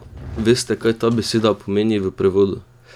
Veste, kaj ta beseda pomeni v prevodu?